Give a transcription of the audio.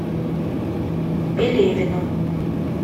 пелевину